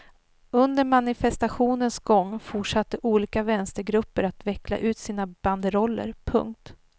Under manifestationens gång fortsatte olika vänstergrupper att veckla ut sina banderoller. punkt